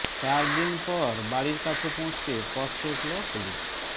চার দিন পর বাড়ির কাছে পৌঁছতে পথ রুখল পুলিশ